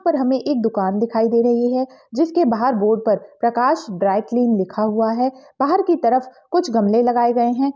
यहां पर हमें एक दुकान दिखाई दे रही है जिसके बाहर बोर्ड पर प्रकाश ड्राई क्लीन लिखा हुआ है बाहर की तरफ कुछ गमले लगाए गए हैं।